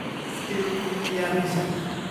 skill India mission